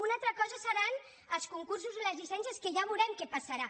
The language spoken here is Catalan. una altra cosa seran els concursos i les llicències que ja veurem què passarà